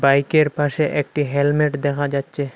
বাইকের পাশে একটি হেলমেট দেখা যাচ্ছে।